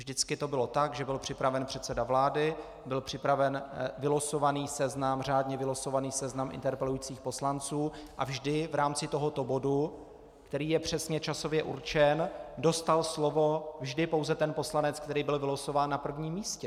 Vždycky to bylo tak, že byl připraven předseda vlády, byl připraven řádně vylosovaný seznam interpelujících poslanců a vždy v rámci tohoto bodu, který je přesně časově určen, dostal slovo vždy pouze ten poslanec, který byl vylosován na prvním místě.